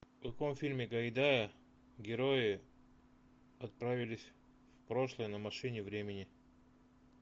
в каком фильме гайдая герои отправились в прошлое на машине времени